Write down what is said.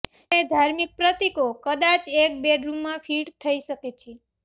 જ્યારે ધાર્મિક પ્રતીકો કદાચ એક બેડરૂમમાં ફિટ થઈ શકે છે